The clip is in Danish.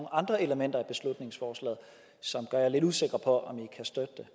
andre elementer i beslutningsforslaget som gør jer lidt usikre på om i kan støtte det